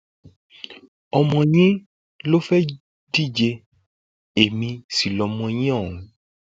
ọmọ yín ló fẹẹ díje èmi sì lọmọ yín ọhún